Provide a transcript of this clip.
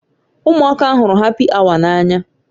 Ụmụaka hụrụ hapi awa n'anya